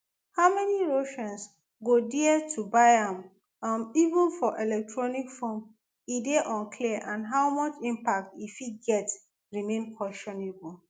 how many russians go dare to buy am um even for electronic form e dey unclear and how much impact e fit get remain questionable